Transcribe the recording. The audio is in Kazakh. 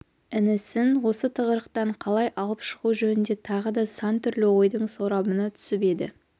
інісін осы тығырықтан қалай алып шығу жөнінде тағы да сан түрлі ойдың сорабына түсіп еді